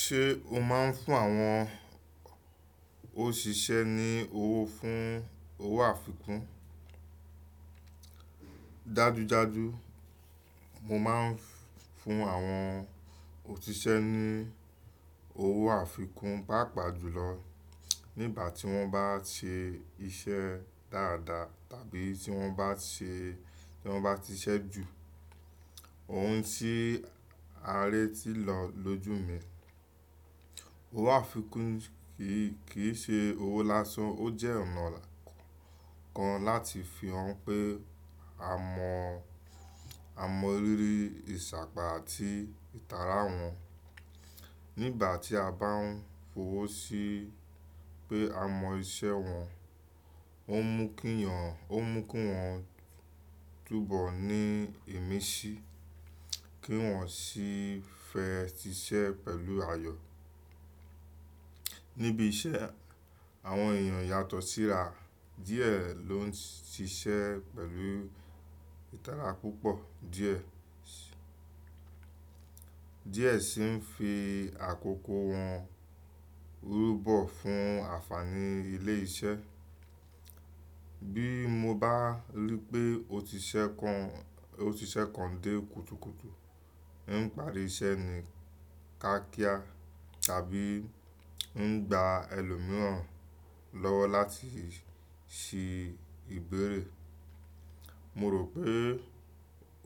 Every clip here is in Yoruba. Ṣé o máa ń fún àwọn òṣìṣẹ́ ní owó fún owó àfikún? Dájú dájú, mo máa ń fún àwọn òṣìṣẹ́ ní owó àfikún, pàápàá jùlọ nígbà tí wọ́n bá ṣe iṣẹ́ dáadáa tàbí tí wọ́n bá ṣe, tí wọ́n bá ti ṣẹ́ jù ohun tí ará ti lò lójú mi. Owó àfikún kì í, kì í ṣe owó lásán, ó jẹ́ ọ̀nà kan láti fi hàn pé a mọ, a mọ ríri ìṣàpá àti ìtara wọn. Nígbà tí a bá ń fọwọ́ sí pé a mọ iṣẹ́ wọn, ó ń mú kí wọn, ó ń mú kí wọn túbọ̀ ní ìmísí, kí wọ́n sì fẹ́ ṣiṣẹ́ pẹ̀lú ayọ̀. Níbi iṣẹ́, àwọn èèyàn yàtọ̀ síra, díẹ̀ ló ń ṣiṣẹ́ pẹ̀lú ìtara púpọ̀, díẹ̀, díẹ̀ sì ń fi àkókò wọn rúbọ̀ fún ànfààní ilé iṣẹ́. Bí mo bá rí pé òṣìṣẹ́ kan, òṣìṣẹ́ kan dé kùtùkùtù, ń parí iṣẹ́ mí kiákia tàbí ń gba ẹlòmíràn lọ́wọ́ láti ṣe ìbéèrè, mo rò pé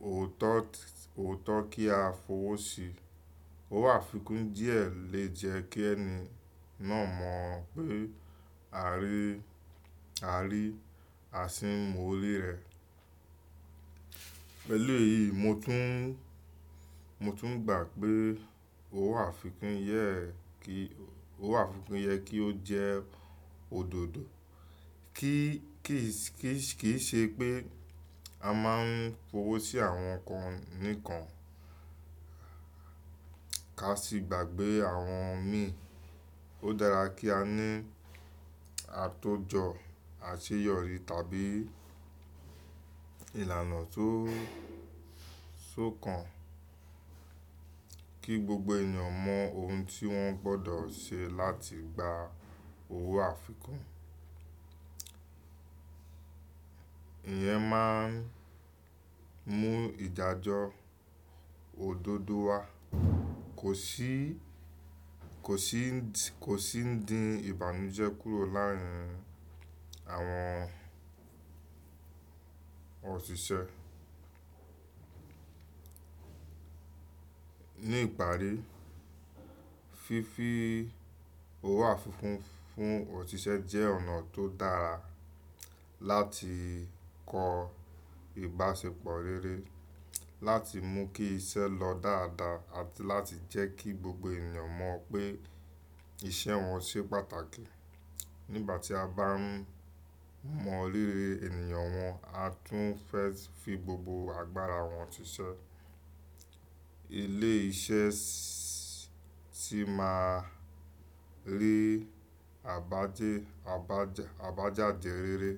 ò tọ́, ò tọ́ kí a fọwọ́ sí. Owó àfikún díẹ̀ lè jẹ́ kí ẹni náà mọ̀ pé a rí, a rí àṣi mo rẹ̀. Pẹ̀lú èyí, mo tún, mo tún gbà pé owó àfikún yẹ kí, owó àfikún yẹ kí ó jẹ́ òdodo. Kí, kìí ṣe pé a máa ń fọwọ́ sí àwọn kan nìkan, ká ṣì gbàgbé àwọn mi. Ó dára kí a ní àtójọ àṣeyọrí tàbí ìlànà tó, tó kan kí gbogbo ènìyàn mọ ohun tí wọ́n gbọ́dọ̀ ṣe láti gba owó àfikún. Ìyẹn máa ń mú ìdájọ́ òdodo wá, kò ṣì, kò sì ń dí ìbànújẹ́ kúrò láàárín àwọn òṣìṣẹ́. Ní ìparí, fífi owó àfikún fún òṣìṣẹ́ jẹ́ ọ̀nà tó dára láti kọ ìbáṣepọ̀ rere, láti mú kí iṣẹ́ lọ dáadáa àti láti jẹ́ kí gbogbo ènìyàn mọ̀ pé iṣẹ́ wọn ṣe pàtàkì. Nígbà tí a bá mọ rírí ènìyàn wọn, a tún fẹ́ fi gbogbo agbára wọn ṣiṣẹ́. Ilé iṣẹ́ sì máa rí àbájáde rere.